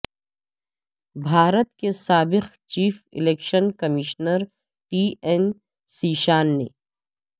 بھارت کے سابق chief election commissioner T N Seshan نے